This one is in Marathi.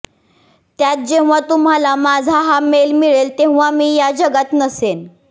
त्यात जेव्हा तुम्हांला माझा हा मेल मिळेल तेव्हा मी या जगात नसेन